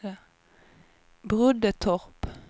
Broddetorp